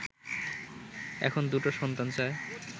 এখন দুটো সন্তান চায়”